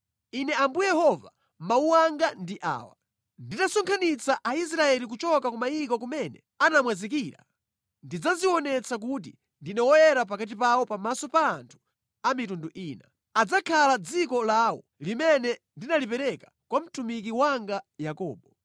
“ ‘Ine Ambuye Yehova mawu anga ndi awa: Nditasonkhanitsa Aisraeli kuchoka ku mayiko kumene anamwazikira, ndidzadzionetsa kuti ndine woyera pakati pawo pamaso pa anthu a mitundu ina. Adzakhala mʼdziko lawo, limene ndinalipereka kwa mtumiki wanga Yakobo.